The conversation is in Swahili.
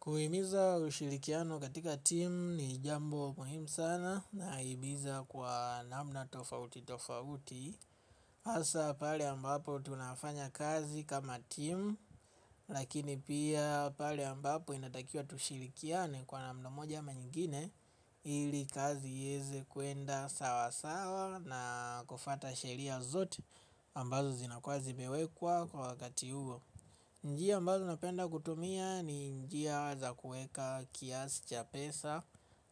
Kuhimiza ushirikiano katika team ni jambo muhimu sana nahimiza kwa namna tofauti tofauti. Asa pale ambapo tunafanya kazi kama team lakini pia pale ambapo inatakiwa tushirikiane kwa namna moja ama nyingine ili kazi ieze kuenda sawa sawa na kufuata sheria zote ambazo zinakuwa zimewekwa kwa wakati huo. Njia ambazo napenda kutumia ni njia za kuweka kiasi cha pesa